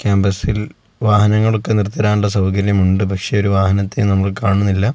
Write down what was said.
ക്യാമ്പസിൽ വാഹനങ്ങളൊക്കെ നിർത്തി ഇടാൻ ഉള്ള സൗകര്യം ഉണ്ട് പക്ഷെ ഒരു വാഹനത്തെയും നമുക്ക് കാണുന്നില്ല.